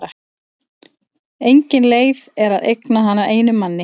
Engin leið er að eigna hana einum manni.